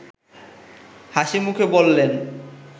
হাসিমুখে বললেন